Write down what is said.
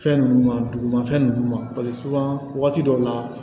Fɛn ninnu ma dugumafɛn ninnu ma paseke wagati dɔw la